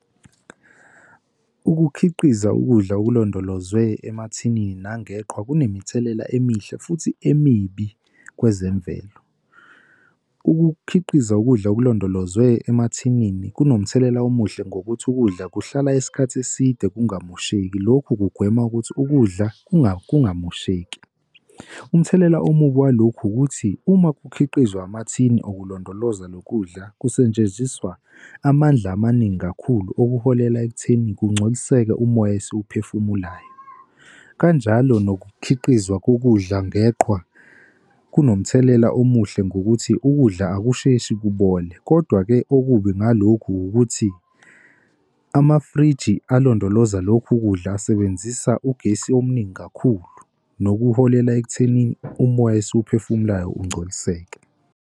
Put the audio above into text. Ukukhiqiza ukudla okulondolozwe emathinini nangeqhwa, kunemithelela emihle futhi emibi kwezemvelo. Ukukhiqiza ukudla okulondolozwe emathinini kunomthelela omuhle ngokuthi ukudla kuhlala isikhathi eside kungamosheki, lokhu kugwema ukuthi ukudla kungamosheki. Umthelela omubi walokhu ukuthi uma kukhiqizwa amathini, okulondolozwa lo kudla kusetshenziswa amandla amaningi kakhulu, okuholela ekutheni kugcoliseke umoya esiwuphefumulayo. Kanjalo nokukhiqizwa kokudla ngeqhwa kunomthelela omuhle ngokuthi ukudla akusheshi kubole. Kodwa-ke okubi ngalokhu ukuthi amafriji alondoloza lokhu kudla asebenzisa ugesi omningi kakhulu nokuholela ekuthenini umoya esiwuphefumulayo ungcoliseke.